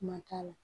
Kuma t'a la